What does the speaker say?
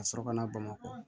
Ka sɔrɔ ka na bamakɔ